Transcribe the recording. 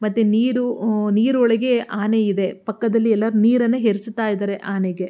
ಮತ್ತೆ ನೀರು ಹ್ಮ್ ನೀರೊಳಗೆ ಆನೆ ಇದೆ ಪಕ್ಕದಲ್ಲಿ ಎಲ್ಲರು ನೀರನ್ನು ಎರಚುತ್ತಾ ಇದ್ದಾರೆ ಆನೆಗೆ.